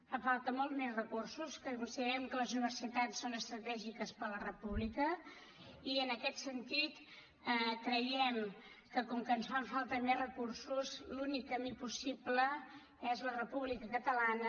fan falta molts més recursos que considerem que les universitats són estratègiques per a la república i en aquest sentit creiem que com que ens fan falta més recursos l’únic camí possible és la república catalana